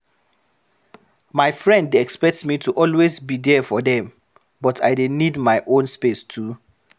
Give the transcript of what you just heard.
My friend dey expect me to always be there for dem, but I dey need my own space too.